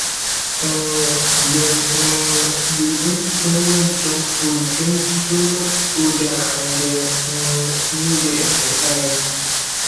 um dem um dey eat too much junk food drink too much soda and dem um no dey exercise